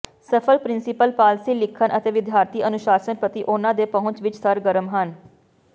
ਸਫ਼ਲ principal policy ਲਿਖਣ ਅਤੇ ਵਿਦਿਆਰਥੀ ਅਨੁਸ਼ਾਸਨ ਪ੍ਰਤੀ ਉਨ੍ਹਾਂ ਦੇ ਪਹੁੰਚ ਵਿੱਚ ਸਰਗਰਮ ਹਨ